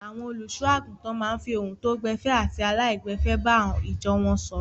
Àwọn olùṣọ́-àgùntàn máa ń fi ohun tó gbẹ̀fẹ̀ àti aláìgbẹ̀fẹ̀ bá ìjọ wọn sọ̀rọ̀.